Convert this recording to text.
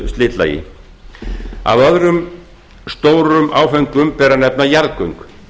slitlagi af öðrum stórum áföngum ber að nefna jarðgöng